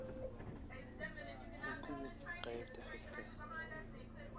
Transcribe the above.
u gudub qaybta xigta